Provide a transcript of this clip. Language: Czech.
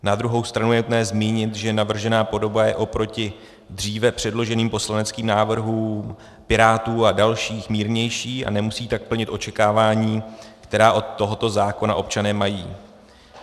Na druhou stranu je nutné zmínit, že navržená podoba je oproti dříve předloženým poslaneckým návrhům Pirátů a dalších mírnější a nemusí tak plnit očekávání, která od tohoto zákona občané mají.